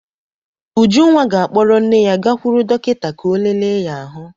Ujunwa ga-akpọrọ nne ya gakwuru dọkịta ka ọ lele ya ahụ.